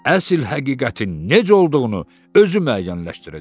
Əsl həqiqətin necə olduğunu özü müəyyənləşdirəcək.